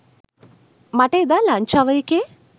මට එදා lunch hour එකේ